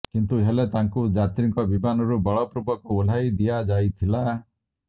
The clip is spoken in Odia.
କିନ୍ତୁ ହେଲେ ତାଙ୍କୁ ଯାତ୍ରୀଙ୍କ ବିମାନରୁ ବଳପୂର୍ବକ ଓହ୍ଲାଇ ଦିଆଯାଇଥିଲା